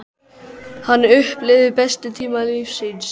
Hann upplifði bestu tíma lífs síns.